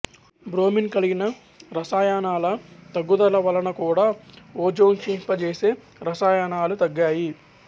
bromine కలిగిన రసాయనాల తగ్గుదల వలన కూడా ఓజోన్క్షీణింపజేసే రసాయనాలు తగ్గాయి